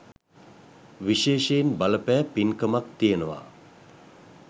විශේෂයෙන් බලපෑ පින්කමක් තියෙනවා.